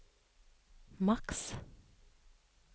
maks